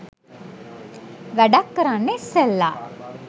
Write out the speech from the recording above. වැඩක් කරන්න ඉස්සෙල්ල